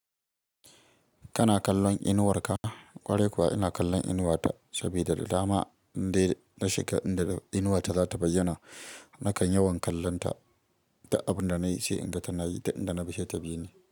Kana kallon inuwar ka? Kwarai kuwa ina kallon inuwata sabida da dama ndai na shiga inda inuwata za ta bayyana nakan yawan kallonta duk abin da nayi, sai inda tana yi da inda na ba she ta bi ne.